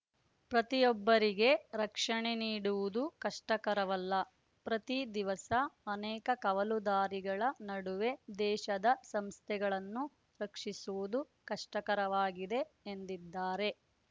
ಪ್ರತಿಯೊಬ್ಬರಿಗೆ ರಕ್ಷಣೆ ನೀಡುವುದು ಕಷ್ಟಕರವಲ್ಲ ಪ್ರತಿ ದಿವಸ ಅನೇಕ ಕವಲು ದಾರಿಗಳ ನಡುವೆ ದೇಶದ ಸಂಸ್ಥೆಗಳನ್ನು ರಕ್ಷಿಸುವುದು ಕಷ್ಟಕರವಾಗಿದೆ ಎಂದಿದ್ದಾರೆ